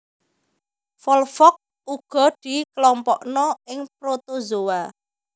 Volvox uga dikelompokna ing protozoa